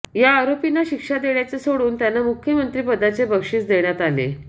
या आरोपींना शिक्षा देण्याचे सोडून त्यांना मुख्यमंत्रिपदाचे बक्षिस देण्यात आले